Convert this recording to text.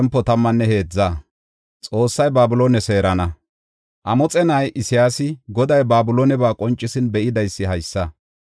Amoxe na7ay, Isayaasi Goday Babilooneba qoncisin be7idaysi haysa.